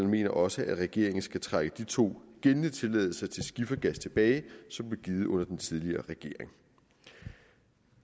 mener også at regeringen skal trække de to gældende tilladelser til skifergas tilbage som blev givet under den tidligere regering